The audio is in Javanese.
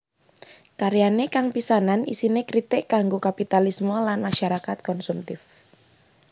Karyane kang pisanan isine kritik kanggo kapitalisme lan masyarakat konsumtif